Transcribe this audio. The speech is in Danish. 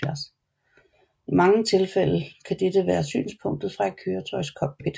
I mange tilfælde kan dette være synspunktet fra et køretøjs cockpit